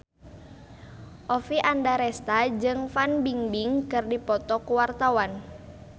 Oppie Andaresta jeung Fan Bingbing keur dipoto ku wartawan